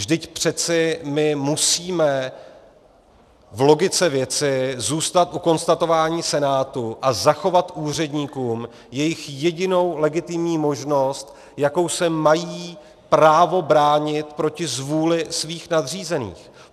Vždyť přeci my musíme v logice věci zůstat u konstatování Senátu a zachovat úředníkům jejich jedinou legitimní možnost, jakou se mají právo bránit proti zvůli svých nadřízených.